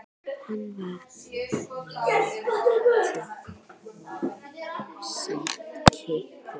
Hann var fimmti forseti Kýpur.